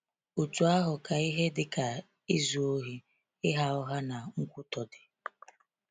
Otú ahụ ka ihe dị ka izu ohi, ịgha ụgha, na nkwutọ dị.